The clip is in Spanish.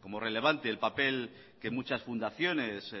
como relevante el papel que muchas fundaciones